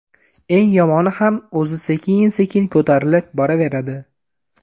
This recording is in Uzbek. Eng yomoni ham o‘zi sekin-sekin ko‘tarilib boraveradi.